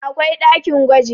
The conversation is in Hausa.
akwai ɗakin gwaji